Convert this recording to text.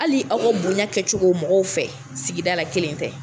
Hali aw ka bonya kɛ cogo mɔgɔw fɛ sigida la kelen tɛ!